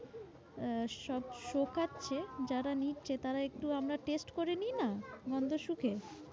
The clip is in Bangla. আহ সব শোকাচ্ছে যারা নিচ্ছে তারা একটু আমরা test করে নিই না? গন্ধ শুকে।